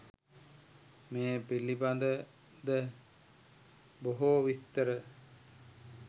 මේ පිළිබඳ ද බොහෝ විස්තර